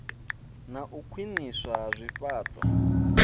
na u khwiniswa ha zwifhao